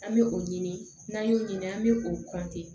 An bɛ o ɲini n'an y'o ɲini an bɛ o kɔntin